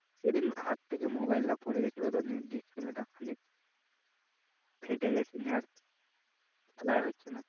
সেদিন হাত থেকে mobile টা পড়ে গেছিল তো display তা খানিক ফেটে গেছে নিয়ে আর খেলায় হচ্ছে না।